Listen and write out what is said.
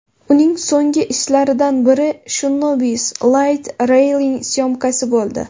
Uning so‘nggi ishlaridan biri Shinobi’s Light Railing syomkasi bo‘ldi.